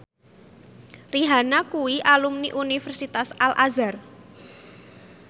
Rihanna kuwi alumni Universitas Al Azhar